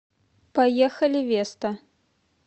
поехали веста